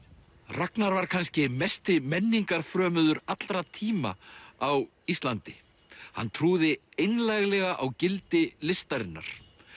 Ragnar var kannski mesti allra tíma á Íslandi hann trúði einlæglega á gildi listarinnar